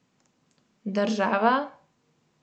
Država?